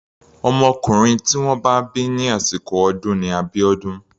Ọmọkùnrin tí wọ́n bá bí ní àsìkò ọdún ni Abiodun.